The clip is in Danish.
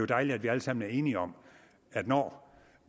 dejligt at vi alle sammen er enige om at når